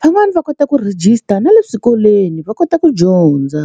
van'wani va kota ku register na le swikolweni va kota ku dyondza.